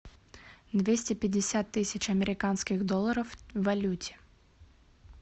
двести пятьдесят тысяч американских долларов в валюте